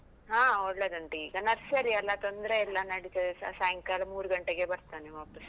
ಹಾ ಒಳ್ಳೆದುಂಟು, ಈಗ Nursery ಅಲ್ಲ ತೊಂದ್ರೆ ಇಲ್ಲ ನಡಿತದೆ, ಸ ಸಾಯಂಕಾಲ ಮೂರು ಗಂಟೆಗೆ ಬರ್ತಾನೆ ವಾಪಸ್ಸ್.